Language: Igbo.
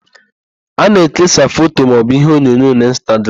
A na-ekesa foto maọbụ iheonyonyo n'Ịnstagram.